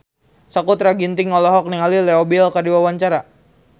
Sakutra Ginting olohok ningali Leo Bill keur diwawancara